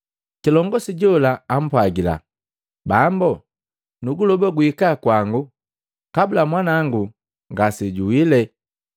Kilongosi jola ampwagila, “Bambo, nuguloba guhika kwangu kabula mwanawango ngasejuwile.”